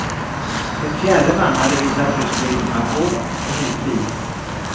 En fjärde man hade visat rysk legitimation och hyrt bilen.